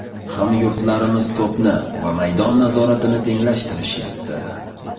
Hamyurtlarimiz to‘pni va maydon nazoratini tenglashtirishyapti.